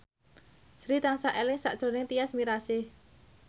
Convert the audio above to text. Sri tansah eling sakjroning Tyas Mirasih